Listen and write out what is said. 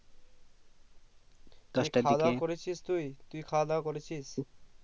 তুই খাওয়া দাওয়া করেছিস তুই তুই খাওয়া দাওয়া করেছিস